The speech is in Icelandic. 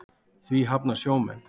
Því hafna sjómenn.